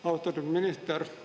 Austatud minister!